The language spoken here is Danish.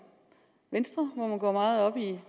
venstre hvor man går meget op i